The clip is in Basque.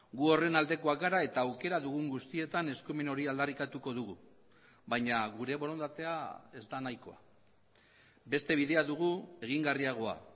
gu horren aldekoak gara eta aukera dugun guztietan eskumen hori aldarrikatuko dugu baina gure borondatea ez da nahikoa beste bidea dugu egingarriagoa